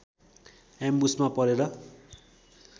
एम्बुसमा परेर